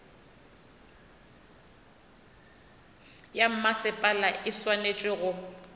ya mmasepala e swanetše go